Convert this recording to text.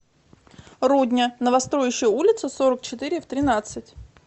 рудня новостроющая улица сорок четыре в тринадцать